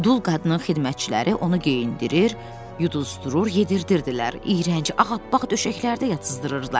Dul qadının xidmətçiləri onu geyindirir, yuduzdurur, yedizdirirdilər, iyrənc ağappaq döşəklərdə yatızdırırdılar.